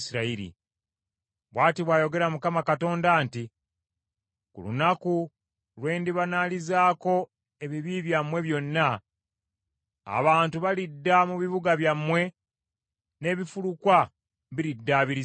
“ ‘Bw’ati bw’ayogera Mukama Katonda nti: Ku lunaku lwe ndibanaalizaako ebibi byammwe byonna, abantu balidda mu bibuga byammwe n’ebifulukwa biriddaabirizibwa.